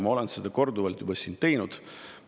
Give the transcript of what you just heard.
Ma olen seda korduvalt siin juba teinud.